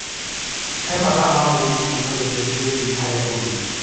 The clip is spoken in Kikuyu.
He mathaa ma mũgithi-inĩ kuuma ceceni-inĩ nginya harĩa ũri